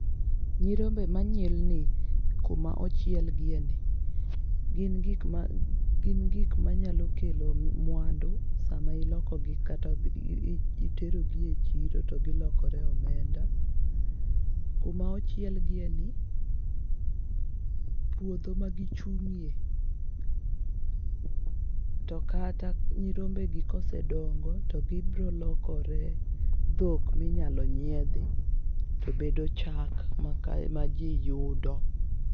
Nyirombe manyilni kuma ochiel gie ni. Gin gik ma gin gik manyalo kelo mwandu sama iloko gi kata itero gi e chiro to gilokore omenda .Kuma ochiel gi e ni, puodho ma gichung'e , to kata nyirombe gi kosedongo to gibro lokore dhok minyalo nyiedhi to bedo chak ma kae ma jii yudo.